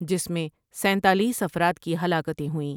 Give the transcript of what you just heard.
جس میں سینتالیس افراد کی ہلاکتیں ہوئیں ۔